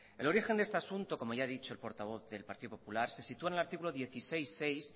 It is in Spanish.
el origen de este asunto como ya he dicho el portavoz del partido popular se sitúa en el artículo dieciséis punto seis